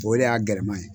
O de y'a gɛlɛma ye